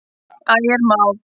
Ægir Már.